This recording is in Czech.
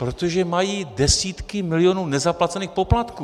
Protože mají desítky milionů nezaplacených poplatků.